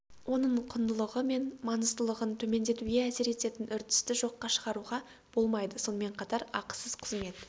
оның құндылығы мен маңыздылығын төмендетуге әсер ететін үрдісті жоққа шығаруға болмайды сонымен қатар ақысыз қызмет